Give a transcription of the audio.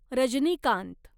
Rajinikanth